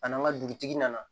A n'an ka dugutigi nana